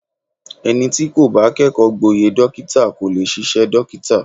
Ẹni tí kò bá kẹ́kọ̀ọ́ gboyè dókítà kò lè ṣiṣẹ́ dókítà.